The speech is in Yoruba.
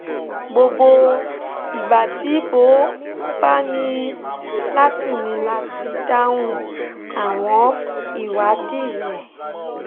gbogbo ìgbà tí mo bá ní láti ní láti dáhùn àwọn ìwádìí rẹ̀